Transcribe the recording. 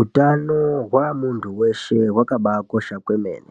Utano hwamuntu weshe wakabaakosha kwemene,